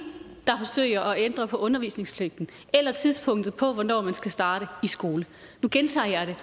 der forsøger at ændre på undervisningspligten eller tidspunktet for hvornår man skal starte i skole jeg gentager det